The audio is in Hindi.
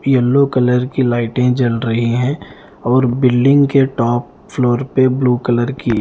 येलो कलर की लाइटे जल रही हैं और बिल्डिंग के टॉप फ्लोर पे ब्लू कलर की--